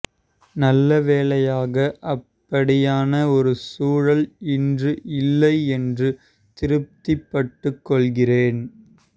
நல்லவேளையாக அப்படியான ஒரு சூழல் இன்று இல்லை என்று திருப்திப்பட்டுக் கொள்கிறேன்